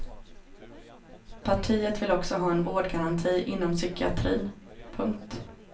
Partiet vill också ha en vårdgaranti inom psykiatrin. punkt